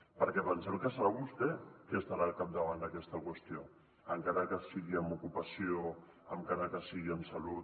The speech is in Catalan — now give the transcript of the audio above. perquè pensem que serà vostè qui estarà al capdavant d’aquesta qüestió encara que sigui amb ocupació encara que sigui amb salut